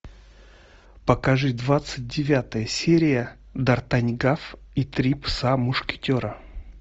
покажи двадцать девятая серия дартаньгав и три пса мушкетера